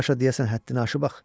Bu Saşa deyəsən həddini aşır ax.